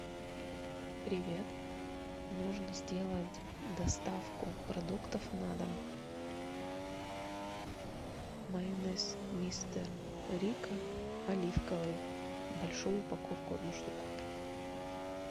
привет нужно сделать доставку продуктов на дом майонез мистер рикко оливковый большую упаковку одну штуку